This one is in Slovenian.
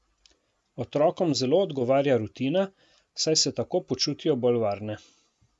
Otrokom zelo odgovarja rutina, saj se tako počutijo bolj varne.